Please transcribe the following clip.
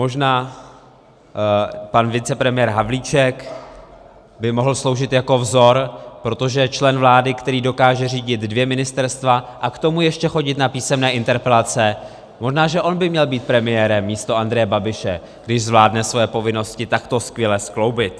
Možná pan vicepremiér Havlíček by mohl sloužit jako vzor, protože člen vlády, který dokáže řídit dvě ministerstva a k tomu ještě chodit na písemné interpelace, možná že on by měl být premiérem místo Andreje Babiše, když zvládne svoje povinnosti takto skvěle skloubit.